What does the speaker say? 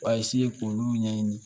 A k'olu ɲɛɲini